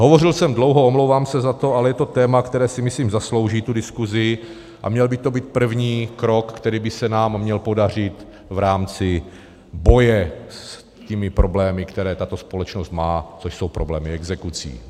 Hovořil jsem dlouho, omlouvám se za to, ale je to téma, které si, myslím, zaslouží tu diskusi, a měl by to být první krok, který by se nám měl podařit v rámci boje s těmi problémy, které tato společnost má, což jsou problémy exekucí.